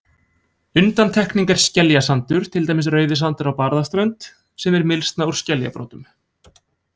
Undantekning er skeljasandur, til dæmis Rauðisandur á Barðaströnd, sem er mylsna úr skeljabrotum.